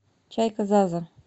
чайка заза